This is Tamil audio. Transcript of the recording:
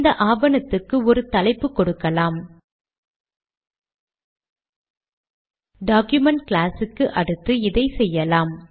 9த் ஜூலி 2007 சேமித்து கம்பைல் செய்ய